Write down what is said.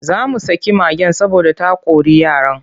Za mu saki mage saboda ta kori yaran.